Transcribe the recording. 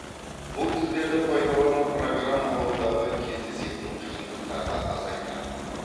бұл тілдерді пайдалану программалаудағы кездесетін қиындықтарды азайтады